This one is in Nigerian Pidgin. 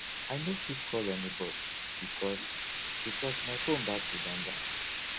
i no fit call anybodi because because my fone battery don die